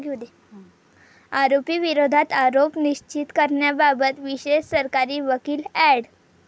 आरोपी विरोधात आरोप निश्चित करण्याबाबत विशेष सरकारी वकील अॅड.